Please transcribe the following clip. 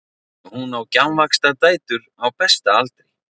Hún á gjafvaxta dætur á besta aldri.